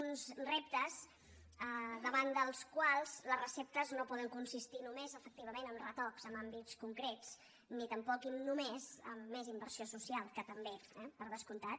uns reptes davant dels quals les receptes no poden consistir només efectivament en retocs en àmbits concrets ni tampoc i només en més inversió social que també eh per descomptat